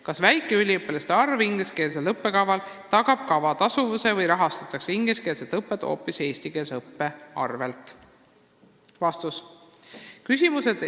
Kas väike üliõpilaste arv ingliskeelsel õppekaval tagab kava tasuvuse või rahastatakse ingliskeelset õpet hoopis eestikeelse õppe arvel?